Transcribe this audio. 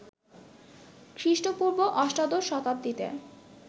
খৃষ্টপূর্ব অষ্টদশ শতাব্দীতে